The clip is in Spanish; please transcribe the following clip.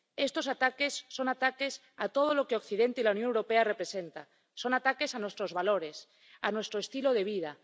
Estos ataques son ataques a todo lo que Occidente y la Unión Europea representan, son ataques a nuestros valores, a nuestro estilo de vida